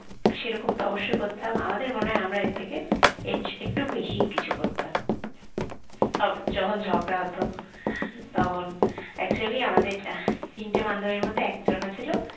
সেরকম তো অবশ্যই করতাম আমাদের মনে হয় আমরা এর থেকে এছ একটু বেশিই কিছু করতাম আবার যখন ঝগড়া হতো তখন actually আমাদের তিনটে বান্ধবীর মধ্যে একজনা ছিল